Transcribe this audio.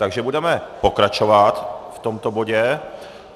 Takže budeme pokračovat v tomto bodě.